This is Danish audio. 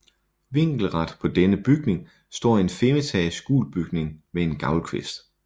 Vinkelret på denne bygning står en femetages gul bygning med en gavlkvist